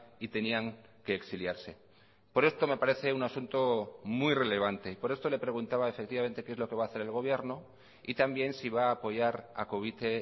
y tenían que exiliarse por esto me parece un asunto muy relevante y por esto le preguntaba efectivamente qué es lo que va a hacer el gobierno y también si va a apoyar a covite